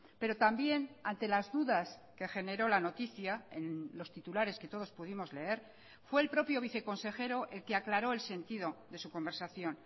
pero también ante las dudas que generó la noticia en los titulares que todos pudimos leer fue el propio viceconsejero el que aclaró el sentido de su conversación